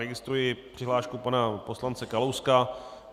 Registruji přihlášku pana poslance Kalouska.